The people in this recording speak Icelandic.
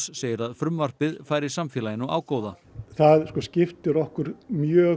segir að frumvarpið færi samfélaginu ágóða það skiptir okkur mjög